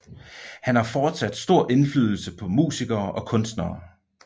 Han har fortsat stor indflydelse på musikere og kunstnere